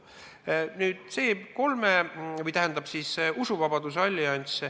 Nüüd, see usuvabaduse allianss.